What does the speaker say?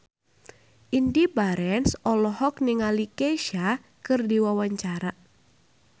Indy Barens olohok ningali Kesha keur diwawancara